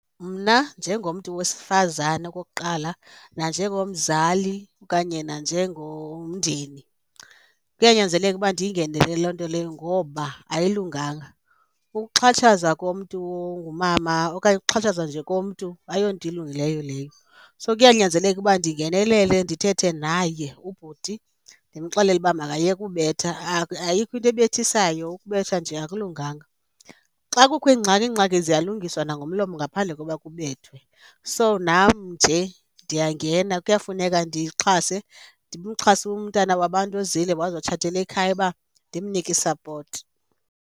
Mna njengomntu wesifazane, okokuqala, nanjengomzali okanye nanjengomndeni kuyanyanzeleka uba ndiyingenele loo nto leyo ngoba ayilunganga. Ukuxhatshazwa komntu ongumama okanye ukuxhatshazwa nje komntu ayonto elungileyo leyo. So, kuyanyanzeleka uba ndingenelele ndithethe naye ubhuti ndimxelele uba makayeke ubetha ayikho into ebethisayo, ukubetha nje akulunganga. Xa kukho iingxaki, iingxaki ziyalungiswa nangomlomo ngaphandle koba kubethwe. So, nam nje ndiyangena, kuyafuneka ndixhase, ndimxhase umntana wabantu ezile wazotshatela ekhaya uba ndimnike i-support.